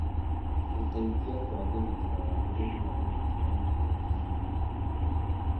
gũteithie kũagĩrithia wagĩrĩru wa ũruti wa iria na nyama.